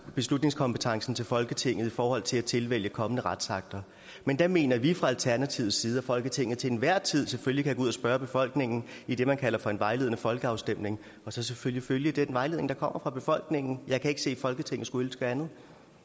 beslutningskompetencen til folketinget i forhold til at tilvælge kommende retsakter men der mener vi fra alternativets side at folketinget til enhver tid selvfølgelig kan gå ud og spørge befolkningen i det man kalder for en vejledende folkeafstemning og så selvfølgelig følge den vejledning der kommer fra befolkningen jeg kan ikke se at folketinget skulle ønske andet